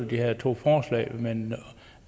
de her to forslag men